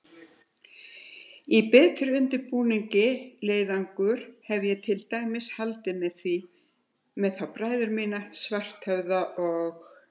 Í betur undirbúinn leiðangur hefði ég til dæmis haldið með þá bræður mína, Svarthöfða og